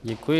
Děkuji.